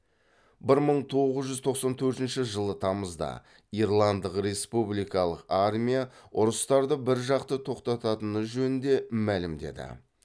бір мың тоғыз жүз тоқсан төртінші жылы тамызда ирландық республикалық армия ұрыстарды біржақты тоқтататыны жөнінде мәлімдеді